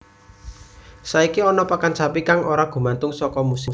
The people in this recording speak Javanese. Saiki ana pakan sapi kang ora gumantung saka musim